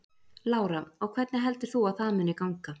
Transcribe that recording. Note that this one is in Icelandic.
Lára: Og hvernig heldur þú að það muni ganga?